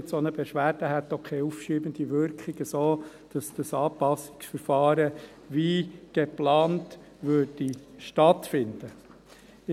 Eine solche Beschwerde hätte auch keine aufschiebende Wirkung, sodass das Anpassungsverfahren wie geplant stattfinden würde.